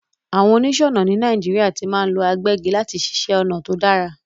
Àwon onísònà ni Naijiria ti ma n lo agbẹ́gi láti siṣẹ̀ onà to dára